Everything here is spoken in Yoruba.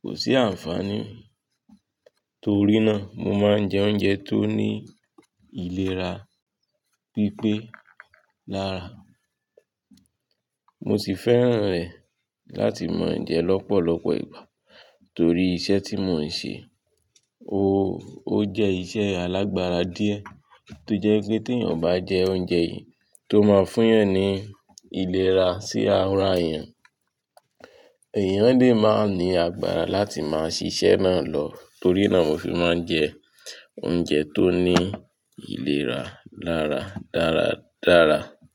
Kò sí ànfàní. Torí náà mo ma ń jẹ oúnjẹ tó ní ìlera pípé lára. Mosì fẹ́ràn ẹ láti máa jẹ lọ́pọ̀lọpọ̀ ìgbà torí iṣẹ́ tí mo ń ṣe, ó jẹ́ iṣẹ́ alágbára díẹ̀ tó jẹ́ wípé tí èyàn ò bá jẹ oúnjẹ yìí tó ma ń fún èyàn ní ìlera sí ara èyàn èèyàn lè máa ní agbára láti máa ṣíṣe náà lọ. Torí náà mo fi máa ń jẹ oúnjẹ tó ní ìlera lára dáradára.